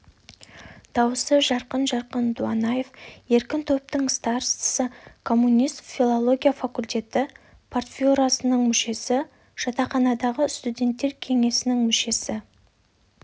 дауысы жарқын-жарқын дуанаев еркін топтың старостасы коммунист филология факультеті партбюросының мүшесі жатақханадағы студенттер кеңесінің мүшесі